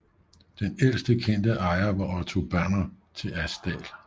Den ældst kendte ejer var Otto Banner til Asdal